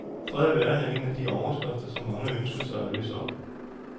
Fred i verden er en af de overskrifter, som mange ønsker sig at læse op.